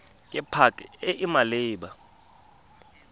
ke pac e e maleba